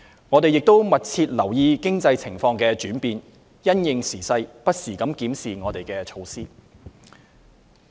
我們亦密切留意經濟情況的轉變，因應時勢不時檢視我們的措施。